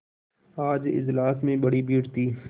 आज इजलास में बड़ी भीड़ थी